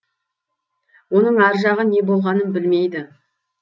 оның ар жағы не болғанын білмейді